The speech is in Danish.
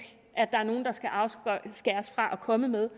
at der er nogen der skal afskæres fra at komme med